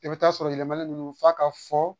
I bɛ taa sɔrɔ yɛlɛma ninnu f'a ka fɔ